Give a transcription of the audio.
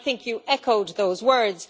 I think you echoed those words.